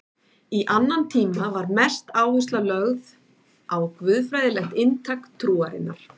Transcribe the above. Í annan tíma var mest áhersla lögð á guðfræðilegt inntak trúarinnar.